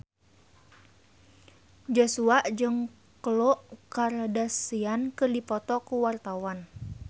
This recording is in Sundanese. Joshua jeung Khloe Kardashian keur dipoto ku wartawan